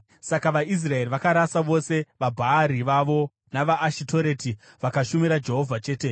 Saka vaIsraeri vakarasa vose vaBhaari vavo navaAshitoreti, vakashumira Jehovha chete.